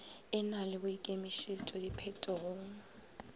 e na le boikemišetšo diphetogong